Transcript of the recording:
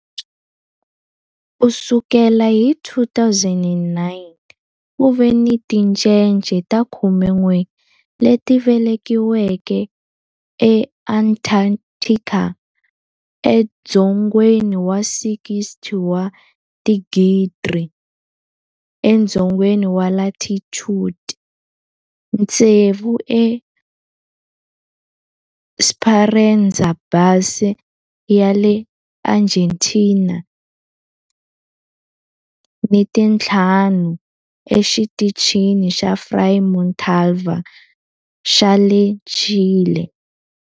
Ku sukela hi 2009, ku ve ni tincece ta 11 leti velekiweke eAntarctica, edzongeni wa 60 wa tidigri edzongeni wa latitude, tsevu eEsperanza Base ya le Argentina ni tinharhu eXitichini xa Frei Montalva xa le Chile.